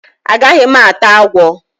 A gaghi m ata agwo.